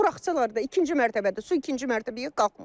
Buraxdılar da ikinci mərtəbədə su ikinci mərtəbəyə qalxmır.